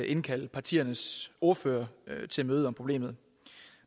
indkalde partiernes ordførere til møde om problemet